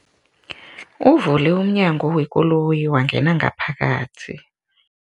Uvule umnyango wekoloyi wangena ngaphakathi.